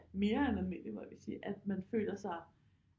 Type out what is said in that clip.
Mere almindeligt at man føler sig